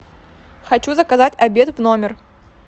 хочу заказать обед в номер